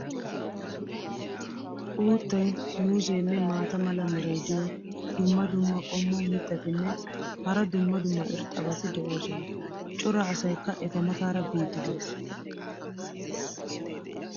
Uuttay, muuzzeenne maata mala meray diyo dumma dumma qommo mitattinne hara dumma dumma irxxabati de'oosona. cora asaykka eta mataara biidi des.